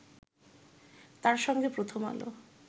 তার সঙ্গে প্রথম আলো